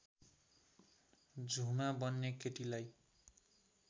झुमा बन्ने केटीलाई